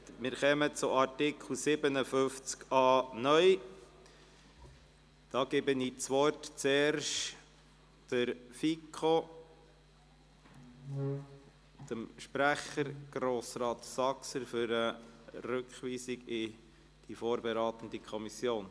Ich erteile das Wort zuerst dem Kommissionsprecher der FiKo, Grossrat Saxer, zur Rückweisung in die vorberatende Kommission.